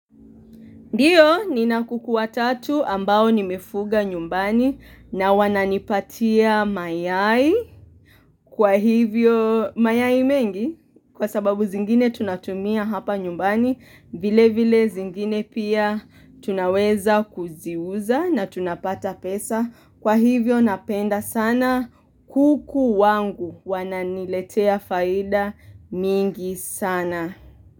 Ndiyo ni na kukuwa tatu ambao ni mefuga nyumbani na wananipatia mayai kwa hivyo mayai mengi kwa sababu zingine tunatumia hapa nyumbani vile vile zingine pia tunaweza kuziuza na tunapata pesa kwa hivyo napenda sana kuku wangu wananiletea faida mingi sana.